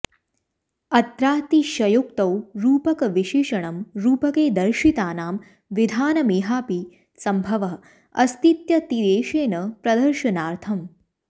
अत्रातिशयोक्तौ रूपकविशेषणं रूपके दर्शितानां विधानामिहापि संभवः अस्तीत्यतिदेशेन प्रदर्शनार्थम्